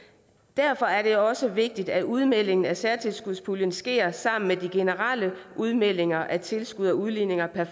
derfor er det også vigtigt at udmeldingen af særtilskudspuljen sker sammen med de generelle udmeldinger af tilskud og udligninger per